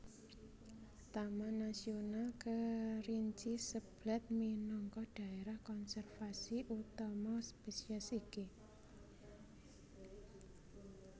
Taman Nasional Kerinci Seblat minangka dhaérah konservasi utama spesies iki